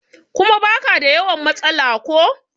kuma ba ka da yawan matsala ko?